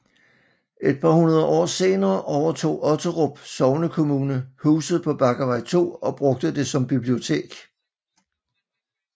Et par hundrede år senere overtog Otterup sognekommune huset på Bakkevej 2 og brugte det som bibliotek